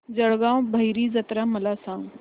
जळगाव भैरी जत्रा मला सांग